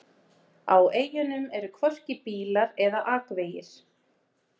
Á eyjunum eru hvorki bílar eða akvegir.